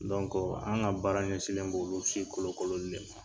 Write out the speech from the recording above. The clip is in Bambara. Dɔnkɔ an ka baara ɲɛsilen bɛ olu si kolon kolon li de ma